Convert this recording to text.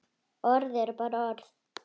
Orð eru bara orð.